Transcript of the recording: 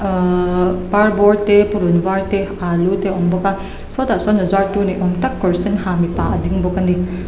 parbawr te purun var te alu te a awm bawk a sawtah sawn a zuar tu ni awm tak kawr sen ha mipa a ding bawk a ni.